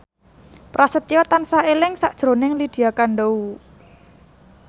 Prasetyo tansah eling sakjroning Lydia Kandou